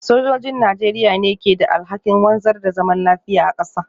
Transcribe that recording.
Sojojin Najeriya ne ke da alhakin wanzar da zaman lafiya a kasa.